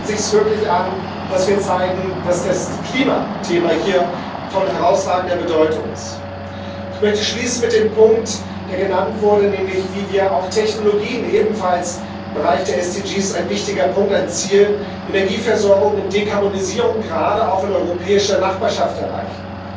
Hier bietet es sich wirklich an, dass wir zeigen, dass das Klimathema von herausragender Bedeutung ist. Ich möchte schließen mit dem Punkt, der genannt wurde, nämlich wie wir auch Technologien ebenfalls im Bereich der Ziele für nachhaltige Entwicklung ein wichtiger Punkt, ein Ziel Energieversorgung und Dekarbonisierung gerade auch in europäischer Nachbarschaft erreichen.